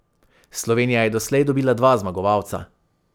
Slovenija je doslej dobila dva zmagovalca.